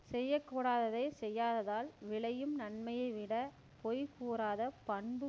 செய்யக்கூடாததைச் செய்யாததால் விளையும் நன்மையைவிடப் பொய் கூறாத பண்பு